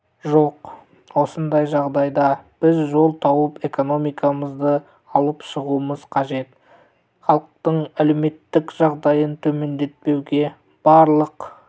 жоқ осындай жағдайда біз жол тауып экономикамызды алып шығуымыз қажет іалықтың әлеуметтік жағдайын төмендетпеуге барлық